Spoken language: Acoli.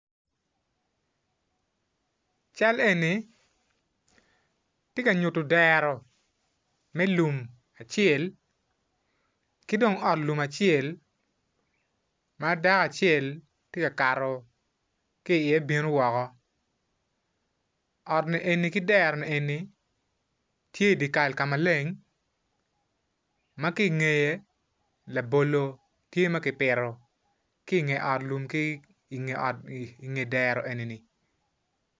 Cal eni tye ka nyuttu dero me lum acel ki dong ot lum acel ma dako acel to ka kato ki iye bino woko ot ni eni ki dero nieni tye I dye Kal ka maleng ma ki ingeye labolo tye ma ki pito ki inge it ki inge ot inge dero eni-ni